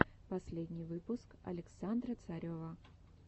последний выпуск александра царева